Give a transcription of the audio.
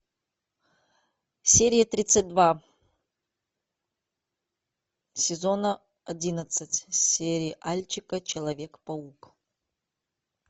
серия тридцать два сезона одиннадцать сериальчика человек паук